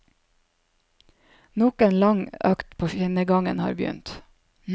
Nok en lang økt på skinnegangen har begynt.